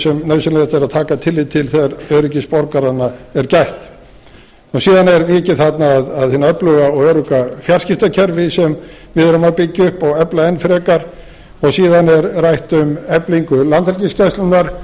sem nauðsynlegt er að taka tillit til þegar öryggis borgaranna er gætt síðan er vikið þarna að hinu öfluga og örugga fjarskiptakerfi sem við erum að byggja upp og efla enn frekar og síðan er rætt um eflingu landhelgisgæslunnar